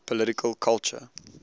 political culture